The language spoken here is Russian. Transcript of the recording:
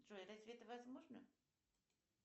джой разве это возможно